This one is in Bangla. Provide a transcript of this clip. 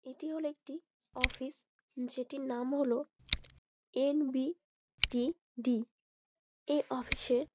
এটি হলো একটি অফিস । যেটির নাম হলো এন.বি.টি.ডি. । এ অফিস এ--